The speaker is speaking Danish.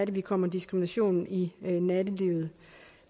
vi kommer diskriminationen i nattelivet